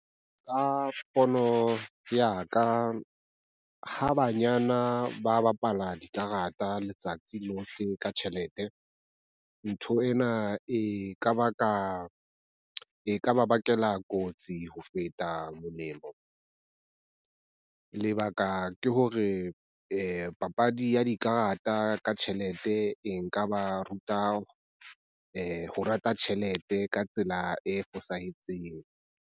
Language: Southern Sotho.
Ka pono ya ka ha banyana ba bapala dikarata letsatsi lohle ka tjhelete, ntho ena e ka ba bakela kotsi ho feta molemo. Lebaka ke hore papadi ya dikarata ka tjhelete e nka ba ruta. Ho rata tjhelete ka tsela e fosahetseng.